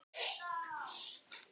Inga Huld.